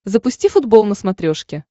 запусти футбол на смотрешке